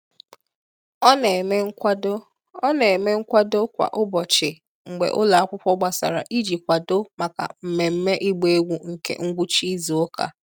Ọ na-eme nkwado Ọ na-eme nkwado kwa ụbọchị mgbe ụlọ akwụkwọ gbasara iji kwadoo maka mmemme ịgba egwu nke ngwụcha izu ụka.